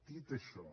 dit això